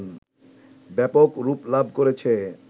ব্যাপক রূপ লাভ করেছে